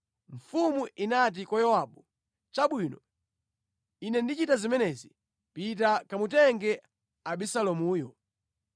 Mfumu inati kwa Yowabu, “Chabwino, ine ndichita zimenezi. Pita kamutenge Abisalomuyo.”